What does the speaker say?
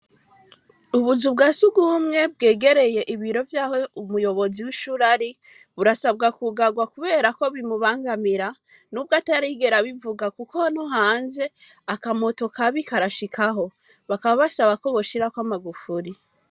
Ubuzu bwa subwumwe bwegereye ibiro vyaho umuyobozi w'ishur ari burasabwa kugarwa, kubera ko bimubangamira n'ubwo atarigera bivuga, kuko no hanze akamoto kabi karashikaho bakaba bashaba ko boshirako amagufuri.